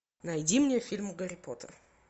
найди мне фильм гарри поттер